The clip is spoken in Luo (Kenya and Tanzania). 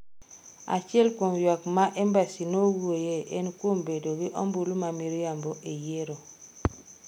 Achiel kuom ywak ma embassy nowuoyoe en kuom bedo gi ombulu ma miriambo e yiero.